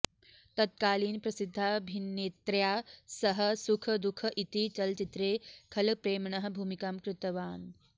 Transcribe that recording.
तत्कालीनप्रसिद्धाभिनेत्र्या सह सुख दुःख् इति चलच्चित्रे खलप्रेम्णः भूमिकां कृत्अवान्